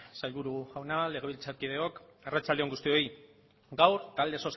sailburu jauna legebiltzarkideok arratsalde on guztioi gaur talde